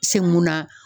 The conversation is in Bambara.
Se mun na